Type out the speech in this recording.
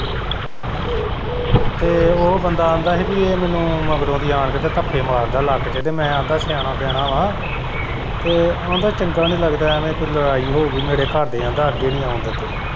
ਤੇ ਉਹ ਬੰਦਾ ਆਂਦਾ ਪੀ ਹੀ ਕਿ ਏਹ ਮੈਨੂੰ ਮਗਰੋਂ ਦੀ ਆਣ ਕੇ ਧੱਫੇ ਮਾਰਦਾ ਲੱਕ ਚ ਤੇ ਆਂਦਾ ਮੈਂ ਸਿਆਣਾ ਪਿਆਣਾ ਵਾ ਤੇ ਆਂਦਾ ਚੰਗਾ ਨੀ ਲੱਗਦਾ ਐਵੇਂ ਕੋਈ ਲੜਾਈ ਹੋਊਗੀ ਮੇਰੇ ਘਰਦੇ ਕਹਿੰਦਾ ਮੈਨੂੰ ਅੱਗੇ ਨੀ ਆਣ ਦਿਂਦੇ।